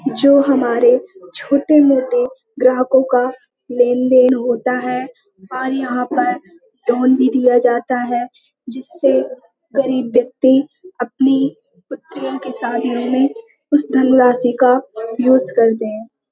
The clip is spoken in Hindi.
जो हमारे छोटे-मोटे ग्राहकों का लेन-देन होता है वह यहाँ पर लोन भी दिया जाता है। जिससे गरीब व्यक्ति अपनी पुत्रियों की शादी में उस धनराशि का यूज़ करते हैं।